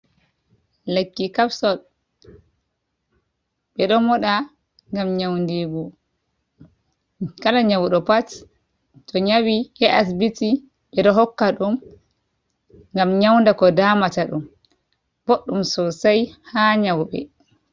Lekki kapsot ɓe ɗo moɗa ngam nyawndiingu. Kala nyawɗo pat, to nyawi yahi asibiti, ɓe ɗo hokka ɗum ngam nyawnda ko damata ɗum. Ɓoɗɗum sosay haa nyawɓe.